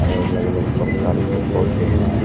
अलग अलग प्रकार के पोधै हैं।